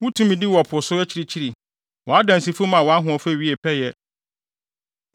Wo tumidi wɔ po so akyirikyiri; wʼadansifo maa wʼahoɔfɛ wiee pɛyɛ.